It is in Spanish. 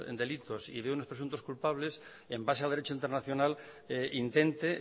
delitos y ve unos presuntos culpables en base a derecho internacional intente